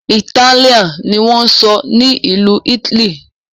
Itálíà ní wón sọ ní Ìlu italy.